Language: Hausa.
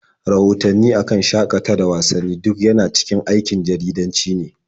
Rahotanni a kan shaƙata da wasanni duk yana cikin aikin jaridanci ne.